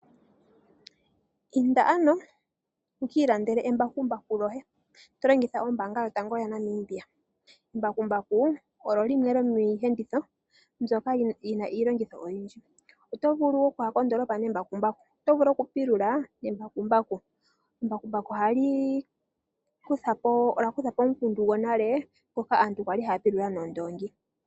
Inda ano wu kiilandele embakumbaku lyoye to longitha ombaanga yotango yopashigwana. Embakumbaku olyo limwe lyomiiyenditho yi na iilongitho oyindji, oto vulu wo okuya kondoolopa nembakumbaku noto vulu okupulula nembakumbaku. Embakumbaku olya kuthapo omukundu gwonale ngoka aantu kwali haya pulula noondongi.